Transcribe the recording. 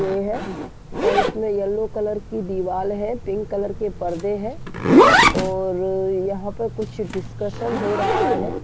ये है और इसमे येल्लो कलर की दीवाल है पिंक कलर के पर्दे हैं और यहाँ पर कुछ डिसकसंन् हो रहा है।